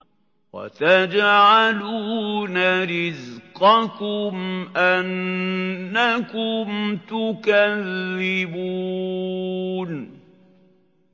وَتَجْعَلُونَ رِزْقَكُمْ أَنَّكُمْ تُكَذِّبُونَ